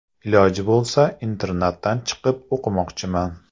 Iloji bo‘lsa internatdan chiqib o‘qimoqchiman.